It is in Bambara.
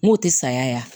N k'o tɛ saya